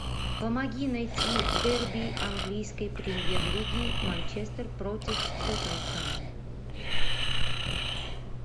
помоги найти дерби английской премьер лиги манчестер против тоттенхэма